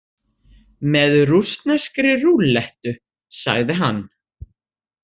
Með rússneskri rúllettu, sagði hann.